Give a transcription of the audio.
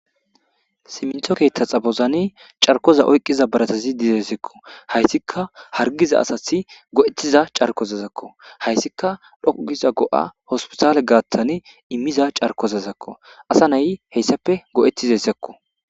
simintho keetta xabozane carkoza oyqqiza baratazi dizesekko hayssika hargiza asathi go7ettiza carkozazakko hayssika dhoukiza go7a hospitale gaattan immiza carkozazakko asa nayi heyssape go7etiza sakko